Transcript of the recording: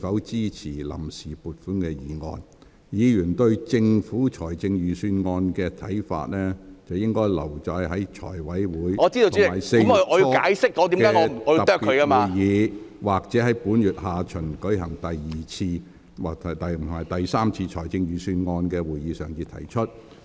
至於議員對財政預算案的意見，可留待財務委員會在4月初舉行的特別會議，或本會於該月下旬舉行的第二次及第三次財政預算案會議上提出。